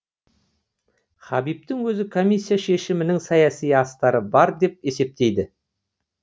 хабибтің өзі комиссия шешімінің саяси астары бар деп есептейді